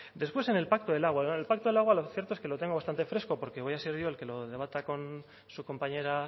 después en el pacto del agua lo del pacto del agua lo cierto es que lo tengo bastante fresco porque voy a ser yo el que lo debata con su compañera